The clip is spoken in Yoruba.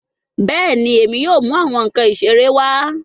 Bẹẹni, Emi yoo mu awọn nkan isere wa